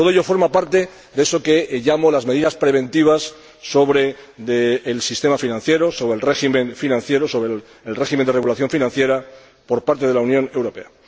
Todo ello forma parte de eso que llamo las medidas preventivas para el sistema financiero, el régimen financiero, el régimen de regulación financiera por parte de la Unión Europea.